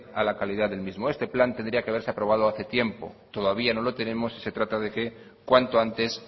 a la calidad del mismo este plan tendría que haberse aprobado hace tiempo todavía no lo tenemos se trata de que cuanto antes